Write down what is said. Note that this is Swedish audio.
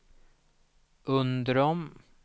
Undrom